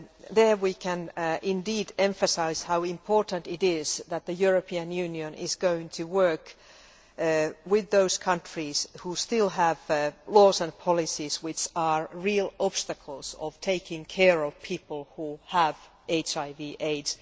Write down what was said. There, we can indeed emphasise how important it is that the European Union is going to work with those countries who still have laws and policies which are real obstacles to taking care of people who have HIV AIDS.